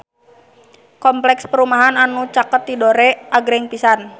Kompleks perumahan anu caket Tidore agreng pisan